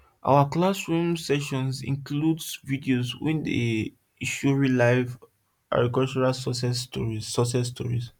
our classroom sessions include videos wey dey show real life agricultural success stories success stories